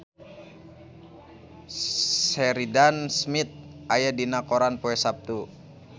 Sheridan Smith aya dina koran poe Saptu